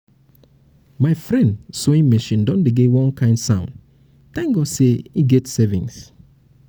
my friend sawing machine don dey make one kind sound thank god say he get savings